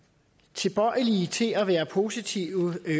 tilbøjelige til at være positive